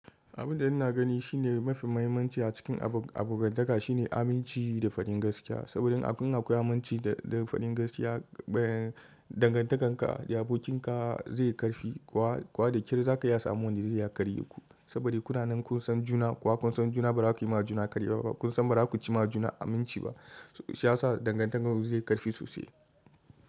Abin da ina gani shine mafi muhimmanci a cikin abokantaka shine aminci da fadin gaskiya. Saboda in akwai aminci da fadin gaskiya, dangantakar ka da abokin ka zai karfi. Kowa da ƙyar za ka iya samun wanda zai iya karye ku. Saboda kuna nan kun san juna, kuma kun san juna ba za ku yi ma juna karya ba. Kun san ba za ku ci ma juna aminci ba, shi ya sa dangantakarku zai karfi sosai.